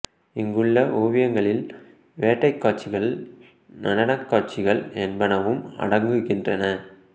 இங்குள்ள ஓவியங்களில் வேட்டைக் காட்சிகள் நடனக் காட்சிகள் என்பனவும் அடங்குகின்றன